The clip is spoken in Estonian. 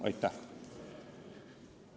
Aitäh!